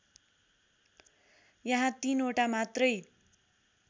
यहाँ तीनवटा मात्रै